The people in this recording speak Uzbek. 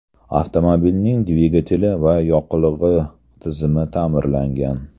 Avtomobilning dvigateli va yoqilg‘i tizimi ta’mirlangan.